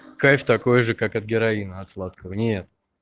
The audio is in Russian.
кайф такой же как от героина от сладкого нет